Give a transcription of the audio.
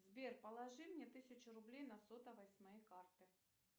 сбер положи мне тысячу рублей на сотовый с моей карты